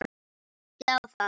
Minnti á það.